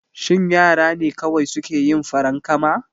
Shin yara ne kawai suke yin farankama?